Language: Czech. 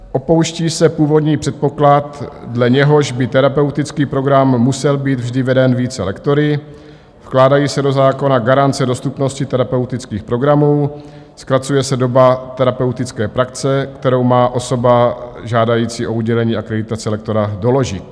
Opouští se původní předpoklad, dle něhož by terapeutický program musel být vždy veden více lektory, vkládají se do zákona garance dostupnosti terapeutických programů, zkracuje se doba terapeutické praxe, kterou má osoba žádající o udělení akreditace lektora doložit.